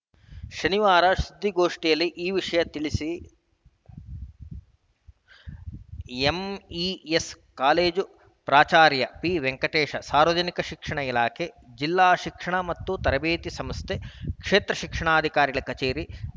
ಶನಿವಾರ ಸುದ್ದಿಗೋಷ್ಠಿಯಲ್ಲಿ ಈ ವಿಷಯ ತಿಳಿಸಿ ಎಂಇಎಸ್‌ ಕಾಲೇಜು ಪ್ರಾಚಾರ್ಯ ಪಿವೆಂಕಟೇಶ ಸಾರ್ವಜನಿಕ ಶಿಕ್ಷಣ ಇಲಾಖೆ ಜಿಲ್ಲಾ ಶಿಕ್ಷಣ ಮತ್ತು ತರಬೇತಿ ಸಂಸ್ಥೆ ಕ್ಷೇತ್ರ ಶಿಕ್ಷಣಾಧಿಕಾರಿಗಳ ಕಚೇರಿ